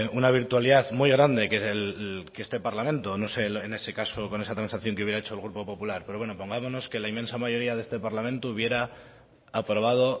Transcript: una virtualidad muy grande que este parlamento en ese caso con esa transacción que hubiera hecho el grupo popular pero bueno pongámonos que la inmensa mayoría de este parlamento hubiera aprobado